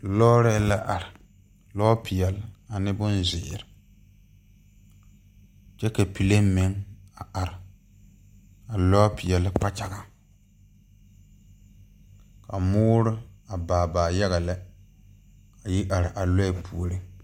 Lɔɔrɛɛ la are lɔpeɛlle ane bonzeere kyɛ ka plane meŋ a are lɔpeɛlle kpakyagaŋ ka moore a baa baa yaga lɛ a yi are a lɔɛ puoriŋ .